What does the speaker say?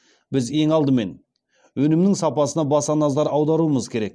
біз ең алдымен өнімнің сапасына баса назар аударуымыз керек